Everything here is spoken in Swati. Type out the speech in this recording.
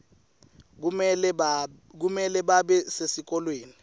kumele babe sesikolweni